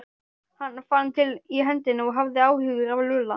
Hann fann til í hendinni og hafði áhyggjur af Lúlla.